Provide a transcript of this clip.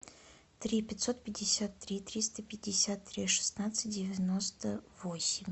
три пятьсот пятьдесят три триста пятьдесят три шестнадцать девяносто восемь